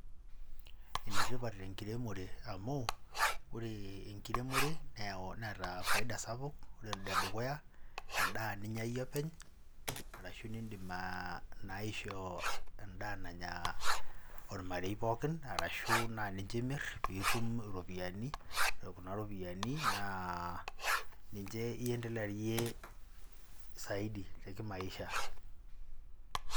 ene tipat enkiremore amu, ore enkiremore neeta faida sapuk. ore ene dukuya naa edaa ninyia iyie openy. arashu nidim naa aishoo edaa nanya ormarei pookin. arashu naa nince imir pee itum iropiyiani. ore kuna ropiyiani naa ninche iendelearie saidi te kimaisha.